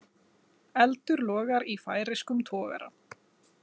Eldur logar í færeyskum togara